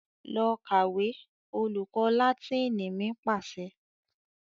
"Lọ kàwé!" Olùkọ́ Láátínì mi pàṣẹ.